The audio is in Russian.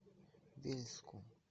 вельску